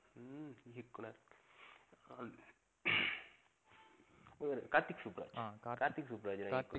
கார்த்திக் சுப்புராஜ் அஹ் கார்த்திக் சுப்புராஜ்